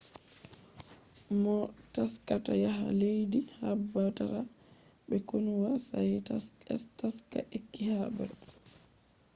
moo taskata yaha leddii habdaata be konuwa sai taska ekkita habre